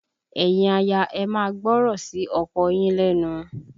Ẹ̀yin aya, ẹ máa gbọ́rọ̀ sí ọkọ yín lẹ́nu!